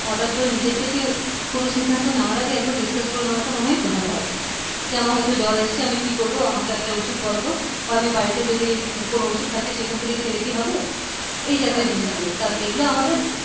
হঠাৎ করে নিজের থেকে কোন সিদ্ধান্ত নেওয়ার আগে একবার discuss করে নেওয়াটা মনে হয় ভালো হয় যে আমার হয়ত জ্বর এসছে আমি কি করবো আমাকে একটা ঔষধ বলতো? বা আমি বাড়িতে যদি কোন ঔষধ থাকে সেখান থেকে খেলে কি হবে এই জাতীয় জিনিসগুলো কারণ এগুলো আমাদের